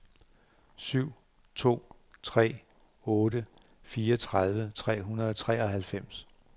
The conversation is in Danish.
syv to tre otte fireogtredive tre hundrede og treoghalvfems